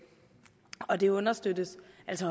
og det understøttes